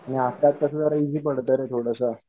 आणि आत्ताच कस जरा इझी पडत रे थोडंस